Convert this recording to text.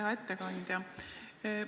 Hea ettekandja!